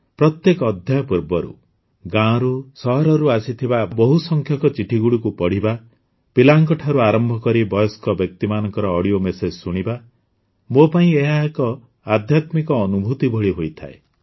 ପ୍ରତ୍ୟେକ ଅଧ୍ୟାୟ ପୂର୍ବରୁ ଗାଁରୁ ସହରରୁ ଆସିଥିବା ବହୁସଂଖ୍ୟକ ଚିଠିଗୁଡ଼ିକୁ ପଢ଼ିବା ପିଲାଙ୍କ ଠାରୁ ଆରମ୍ଭ କରି ବୟସ୍କ ବ୍ୟକ୍ତିମାନଙ୍କ ଅଡିଓ ମେସେଜ ଶୁଣିବା ମୋ ପାଇଁ ଏହା ଏକ ଆଧ୍ୟାତ୍ମିକ ଅନୁଭୂତି ଭଳି ହୋଇଥାଏ